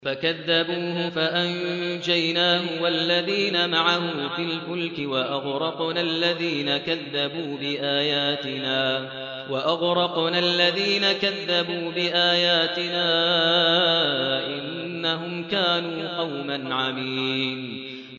فَكَذَّبُوهُ فَأَنجَيْنَاهُ وَالَّذِينَ مَعَهُ فِي الْفُلْكِ وَأَغْرَقْنَا الَّذِينَ كَذَّبُوا بِآيَاتِنَا ۚ إِنَّهُمْ كَانُوا قَوْمًا عَمِينَ